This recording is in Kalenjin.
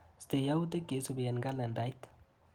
Istee yautik cheisupi eng kslendait.